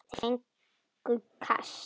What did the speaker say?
Þeir fengju kast!